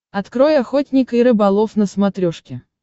открой охотник и рыболов на смотрешке